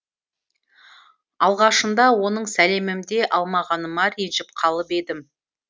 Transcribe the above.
алғашында оның сәлемімде алмағаныма ренжіп қалып едім